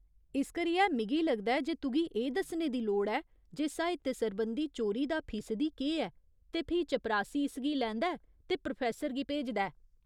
इस करियै, मिगी लगदा ऐ जे तुगी एह् दस्सने दी लोड़ ऐ जे साहित्य सरबंधी चोरी दा फीसदी केह् ऐ, ते फ्ही चपरासी इसगी लैंदा ऐ ते प्रोफेसर गी भेजदा ऐ।